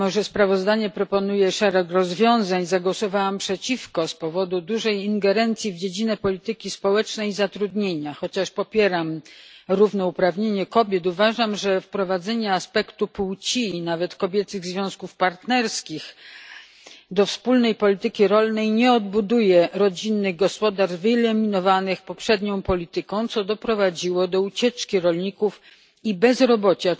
Mimo że sprawozdanie proponuje szereg rozwiązań, zagłosowałam przeciwko z powodu dużej ingerencji w dziedzinę polityki społecznej i zatrudnienia. Chociaż popieram równouprawnienie kobiet, uważam, że wprowadzenie aspektu płci i nawet kobiecych związków partnerskich do wspólnej polityki rolnej nie odbuduje rodzinnych gospodarstw, wyeliminowanych poprzednią polityką, która doprowadziła do ucieczki rolników i bezrobocia.